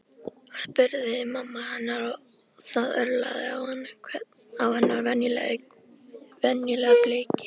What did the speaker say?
spurði mamma hennar og það örlaði á hennar venjulega bliki.